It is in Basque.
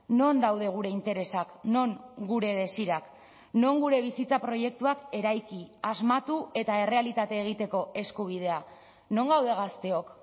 non daude gure interesak non gure desirak non gure bizitza proiektuak eraiki asmatu eta errealitate egiteko eskubidea non gaude gazteok